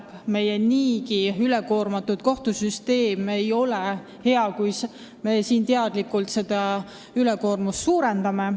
Meie kohtusüsteem on niigi üle koormatud ja ei ole hea, kui me seda koormust veelgi suurendame.